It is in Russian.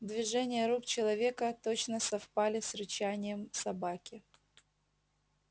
движения рук человека точно совпадали с рычанием собаки